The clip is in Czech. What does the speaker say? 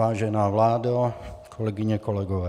Vážená vládo, kolegyně, kolegové.